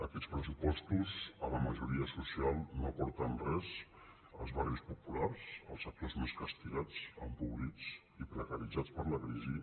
aquests pressupostos a la majoria social no li aporten res als barris populars als sectors més castigats em·pobrits i precaritzats per la crisi